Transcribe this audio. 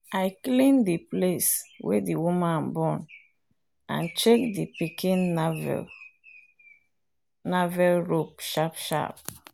i clean the place wey the woman born and check the pikin navel rope sharp sharp